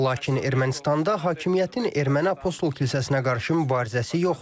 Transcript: Lakin Ermənistanda hakimiyyətin erməni apostol kilsəsinə qarşı mübarizəsi yoxdur.